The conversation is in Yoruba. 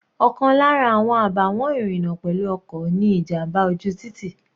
Ọ̀kan lára àwọn àbàwọ́n ìrìna pẹ̀lú ọkọ̀ ni ìjàmbá ojú títì.